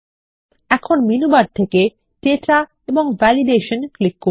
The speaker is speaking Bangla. এখন মেনু বার থেকে তথ্য এবং বৈধতা ক্লিক করুন